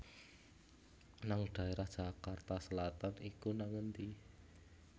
nang daerah Jakarta Selatan iku nang endi?